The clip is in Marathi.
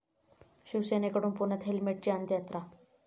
शिवसेनेकडून पुण्यात हेल्मेटची अंत्ययात्रा